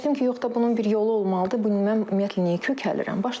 Fikirləşdim ki, yox da bunun bir yolu olmalıdır, mən ümumiyyətlə niyə kökəlirəm?